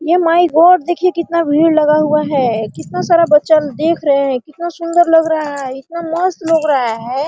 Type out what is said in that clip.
ये my God देख कितना भीड़ लगा हुआ है कितना सारा बच्चा देख रहे हैं इतना सुंदर लग रहा है कितना मस्त लग रहा है।